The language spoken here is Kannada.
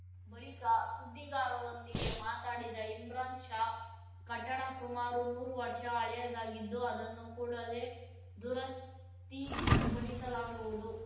ಬಳಿಕ ಸುದ್ದಿಗಾರರೊಂದಿಗೆ ಮಾತಾಡಿದ ಇಮ್ರಾನ್‌ಪಾಷಾ ಕಟ್ಟಡ ಸುಮಾರು ನೂರು ವರ್ಷ ಹಳೆಯದ್ದಾಗಿದ್ದು ಅದನ್ನು ಕೂಡಲೆ ದುರಸ್ತಿ ಪಡಿಸಲಾಗುವುದು